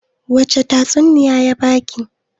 wacece tatsuniya ya ba ki?